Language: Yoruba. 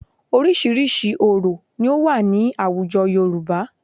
Oríṣiríṣi orò ni ó wà ní àwùjọ Yorùbá